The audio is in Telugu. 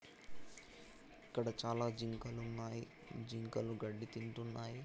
ఇక్కడ చాలా జింకలు ఉన్నాయి. జింకలు గడ్డి తింటున్నాయి.